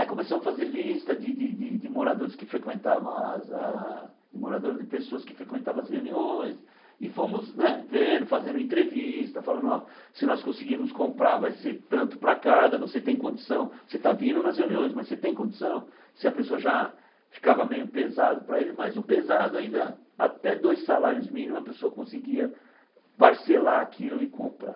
Aí começamos a fazer lista de de de moradores que frequentavam as a, de moradores não de pessoas que frequentavam as reuniões, e fomos né vendo, e fazendo entrevista, falando, ó, se nós conseguirmos comprar, vai ser tanto para cada, você tem condição, você está vindo nas reuniões, mas você tem condição, se a pessoa já ficava meio pesado para ele, mas o pesado ainda, até dois salários mínimos, a pessoa conseguia parcelar aquilo e comprar.